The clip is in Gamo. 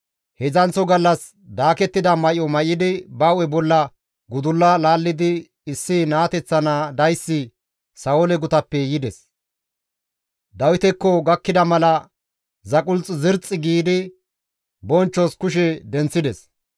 Heedzdzanththo gallas daakettida may7o may7idi ba hu7e bolla gudulla laallidi issi naateththa naa dayssi Sa7oole gutappe yides. Dawitekko gakkida mala zaqulth zirxxi giidi bonchchos kushe denththides.